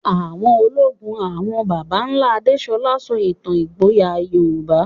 Àwọ̀ ológun àwọn baba ńlá Adesola sọ ìtàn ìgboyà Yorùbá.